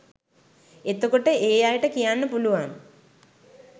එතකොට ඒ අයට කියන්න පුළුවන්